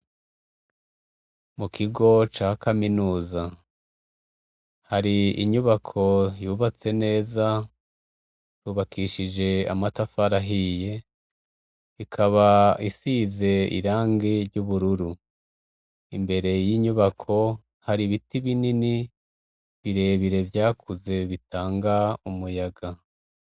Mu kigo ca kaminuza hari inyubako yubatse neza yubakishije amatafari ahiye ikaba isize irangi ry’ubururu imbere y’inyubako hari ibiti binini birebire vyakuze bitanga umuyaga.